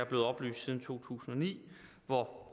blevet oplyst siden to tusind og ni hvor